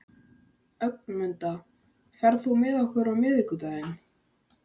Ögmunda, ferð þú með okkur á miðvikudaginn?